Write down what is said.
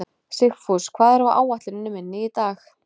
Sigfús, hvað er á áætluninni minni í dag?